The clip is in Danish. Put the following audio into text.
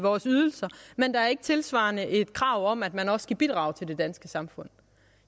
vores ydelser men der er ikke tilsvarende et krav om at man også skal bidrage til det danske samfund